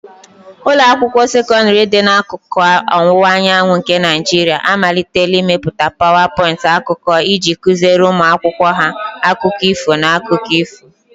Ụlọ akwụkwọ sekọndrị dị n'akụkụ ọwụwa anyanwụ nke Naijiria amalitela ịmepụta PowerPoint akụkọ iji kụziere ụmụ akwụkwọ ha akụkọ ifo na akụkọ ifo.